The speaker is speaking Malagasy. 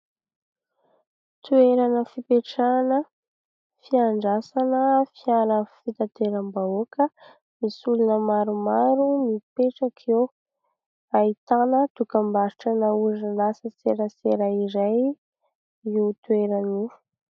Toerana fipetrahana fandraisana fiara fitanteram-bahoaka. Misy olona maromaro mipetraka eo, ahitana dokam-barotra an'ny orinasa serasera iray io toerany io.